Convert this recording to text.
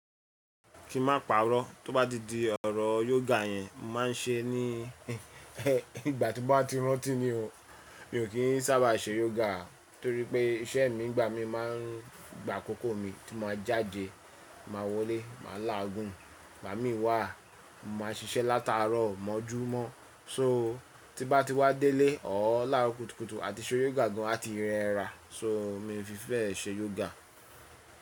Kí ma pàrọ̀, tó bá di di ọ̀rọ̀ yoga yẹn, màá ṣe é ní ìgbà tí mo bá ti rántí ni o. Mi ò kí ń sábà ṣe yoga torí pé iṣẹ́ mi ìgbà mi máa ń gba àkókò mi tí ma jáde, màá wọlé, màá láàgún, igbá mi wà, mo ma ṣiṣẹ́ lataarọ̀ mọ́júmọ́ so tí bá ti wá délé, ọ̀ọ̀ láro kùtùkùtù àti ṣe yoga gan àti rẹ́ra. So mi fi bẹ́ ṣe yoga.